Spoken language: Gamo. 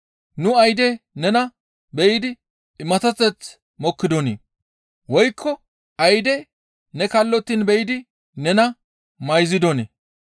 Nu ayde nena be7idi imaththateth mokkidonii? Woykko ayde ne kallottiin be7idi nena mayzidonii?